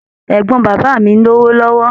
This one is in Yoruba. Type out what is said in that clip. Ẹ̀gbọ́n bàbá mi lówó lọ́wọ́.